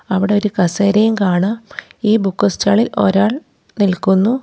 അവിടെ ഒരു കസേരയും കാണാം ഈ ബുക്ക് സ്റ്റാൾ ഇൽ ഒരാൾ നിൽക്കുന്നു.